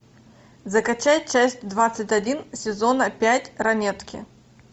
закачай часть двадцать один сезона пять ранетки